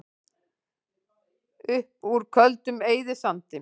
Upp úr Köldum eyðisandi